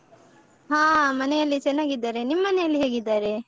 ಹಾ ಮನೆಯಲ್ಲಿ ಚೆನ್ನಾಗಿದ್ದಾರೆ. ನಿಮ್ ಮನೆಯಲ್ಲಿ ಹೇಗಿದ್ದಾರೆ?